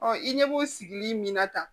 i ɲɛ b'o sigili min na tan